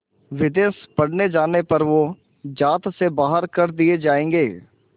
विदेश पढ़ने जाने पर वो ज़ात से बाहर कर दिए जाएंगे